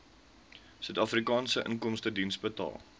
suidafrikaanse inkomstediens betaal